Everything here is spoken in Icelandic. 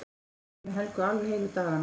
Ég gleymdi Helga alveg heilu dagana.